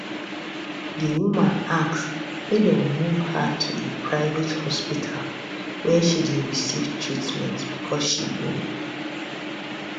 di woman ask make dem move her to a private hospital wia she dey receive treatment becos she bin